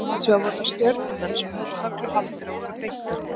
Hins vegar voru það Stjörnumenn sem höfðu tögl og haldir og voru beittari.